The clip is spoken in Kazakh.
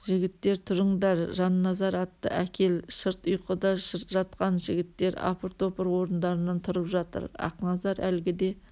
жігіттер тұрыңдар жанназар атты әкел шырт ұйқыда жатқан жігіттер апыр топыр орындарынан тұрып жатыр ақназар әлгіде